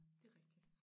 Det rigtigt